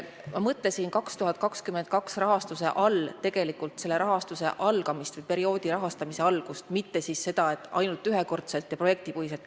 Ma mõtlesin 2022. aasta rahastuse all tegelikult selle perioodi rahastuse algust, mitte seda, et raha eraldatakse ainult ühekordselt ja projektipõhiselt.